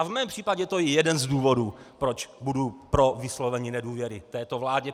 A v mém případě to je jeden z důvodů, proč budu pro vyslovení nedůvěry této vládě.